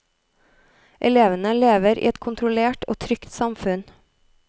Elevene lever i et kontrollert og trygt samfunn.